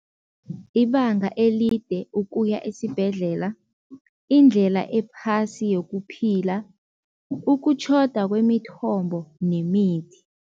Ibanga elide ukuya esibhedlela, indlela ephasi yokuphila, ukutjhoda kwemithombo nemithi.